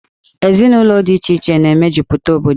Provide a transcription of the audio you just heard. Ezinụlọ dị iche iche na-emejupụta obodo.